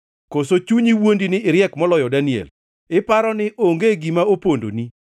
Koso chunyi wuondi ni iriek moloyo Daniel? Iparo ni onge gima opondoni?